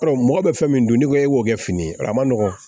Ɔ mɔgɔ bɛ fɛn min dun n'i ko e b'o kɛ fini a ma nɔgɔn